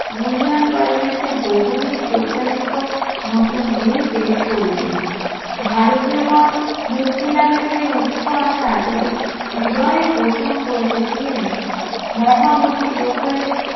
union parliament এ বহুদিন প্রত্যাশিত নতুন bill pace করিলেন, ভারতীয় গন মুক্তি লাভের চেয়ে উৎস আশা এতদিন হৃদয়ে পোষণ করিতেছিলেন মহামতি গোখলে